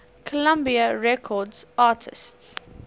columbia records artists